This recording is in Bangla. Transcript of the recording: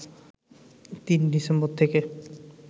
৩ ডিসেম্বর থেকে